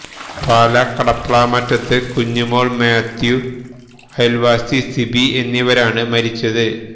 പാലാ കടപ്ലാമറ്റത്ത് കുഞ്ഞുമോള് മാത്യു അയല്വാസി സിബി എന്നിവരാണ് മരിച്ചത്